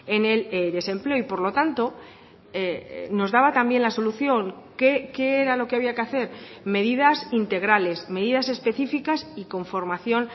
en el desempleo y por lo tanto nos daba también la solución qué era lo que había que hacer medidas integrales medidas específicas y con formación